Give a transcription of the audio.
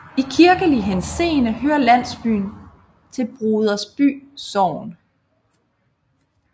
I kirkelig henseende hører landsbyen til Brodersby Sogn